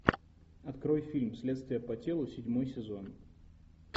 открой фильм следствие по телу седьмой сезон